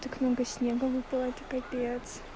так много снега выпало капец